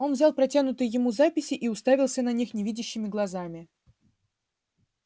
он взял протянутые ему записи и уставился на них невидящими глазами